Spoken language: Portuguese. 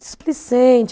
displicente.